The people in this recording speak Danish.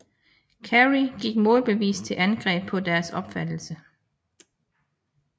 Carey gik målbevidst til angreb på deres opfattelse